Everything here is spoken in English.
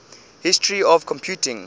history of computing